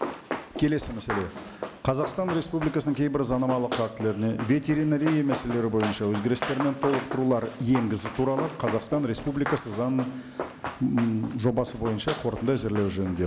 келесі мәселе қазақстан республикасының кейбір заңнамалық актілеріне ветеринария мәселелері бойынша өзгерістер мен толықтырулар енгізу туралы қазақстан республикасы заң ммм жобасы бойынша қорытынды әзірлеу жөнінде